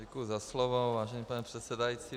Děkuji za slovo, vážený pane předsedající.